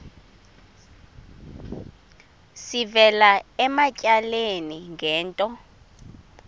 sivela ematyaleni ngento